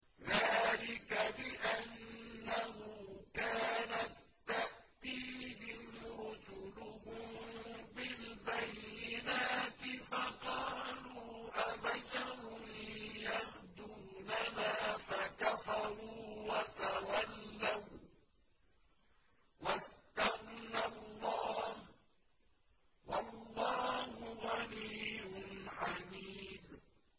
ذَٰلِكَ بِأَنَّهُ كَانَت تَّأْتِيهِمْ رُسُلُهُم بِالْبَيِّنَاتِ فَقَالُوا أَبَشَرٌ يَهْدُونَنَا فَكَفَرُوا وَتَوَلَّوا ۚ وَّاسْتَغْنَى اللَّهُ ۚ وَاللَّهُ غَنِيٌّ حَمِيدٌ